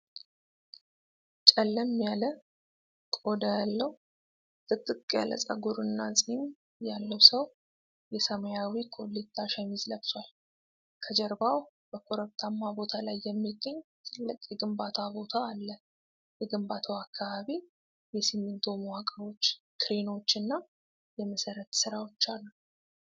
ጨለም ያለ ቆዳ ያለው፣ ጥቅጥቅ ያለ ጸጉርና ፂም ያለው ሰው የሰማያዊ ኮሌታ ሸሚዝ ለብሷል። ከጀርባው በኮረብታማ ቦታ ላይ የሚገኝ ትልቅ የግንባታ ቦታ አለ። የግንባታው አካባቢ የሲሚንቶ መዋቅሮች፣ ክሬኖች እና የመሠረት ሥራዎች አሉ።